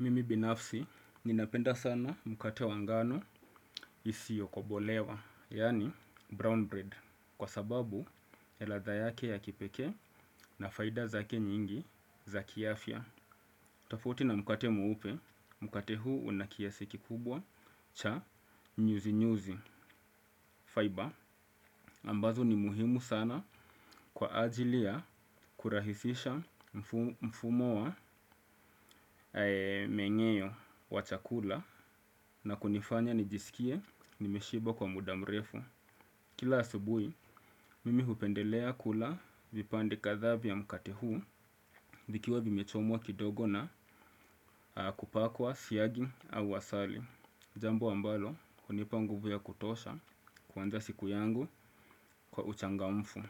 Mimi binafsi, ninapenda sana mkate wa ngano isiokobolewa, yaani brown bread, kwa sababu ya ladha yake ya kipekee na faida zake nyingi za kiafya. Tafauti na mkate mweupe, mkate huu unakiasi kikubwa cha nyuzi nyuzi fiber, ambazo ni muhimu sana kwa ajili ya kurahisisha mfumo wa menyeo wa chakula na kunifanya nijisikie nimeshiba kwa muda mrefu. Kila asubuhi, mimi hupendelea kula vipande kadhaa vya mkate huu vikiwa vimechomwa kidogo na kupakwa siagi au asali. Jambo ambalo, hunipa nguvu ya kutosha kuanza siku yangu kwa uchangamfu.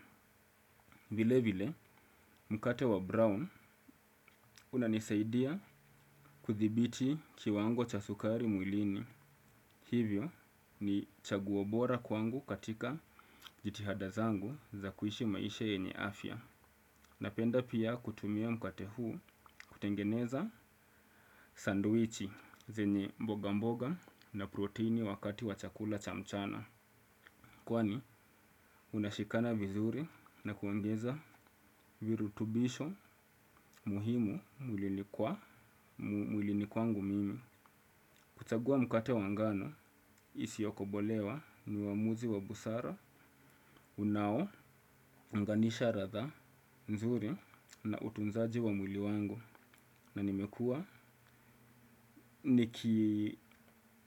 Vile vile, mkate wa brown unanisaidia kudhibiti kiwango cha sukari mwilini. Hivyo ni chaguo bora kwangu katika jitihada zangu za kuishi maisha yenye afya. Napenda pia kutumia mkate huu kutengeneza sandwichi zenye mboga mboga na proteni wakati wa chakula chamchana. Kwani unashikana vizuri na kuoingeza virutubisho muhimu mulini kwangu mimi. Kuchagua mkate wangano isiyo kobolewa ni waamuzi wa busara, unao, unganisha ladha, nzuri na utunzaji wa mwili wangu na nimekua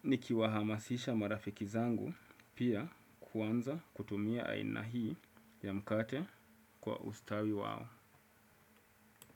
niki wahamasisha marafiki zangu pia kuanza kutumia aina hii ya mkate kwa ustawi wao.